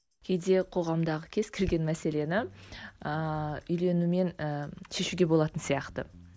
кейде қоғамдағы кез келген мәселені ыыы үйленумен ііі шешуге болатын сияқты